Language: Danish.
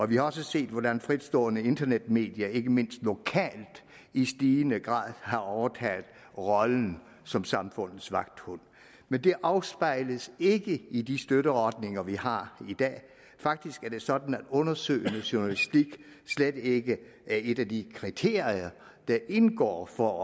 vi har også set hvordan fritstående internetmedier ikke mindst lokalt i stigende grad har overtaget rollen som samfundets vagthund men det afspejles ikke i de støtteordninger vi har i dag faktisk er det sådan at undersøgende journalistik slet ikke er et af de kriterier der indgår for